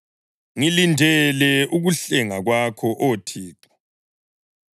Ngilindele ukuhlenga kwakho, Oh Thixo.